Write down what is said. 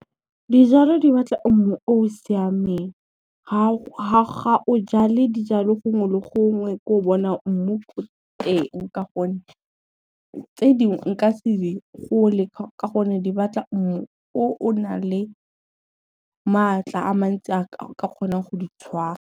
Dijalo di batla mmu o o siameng, ga o jale dijalo gongwe le gongwe ko o bonang mmu ko teng ka gonne, tse dingwe nka se di gole ka gonne di batla mmu o o na le maatla a mantsi a ka kgonang go di tshwara.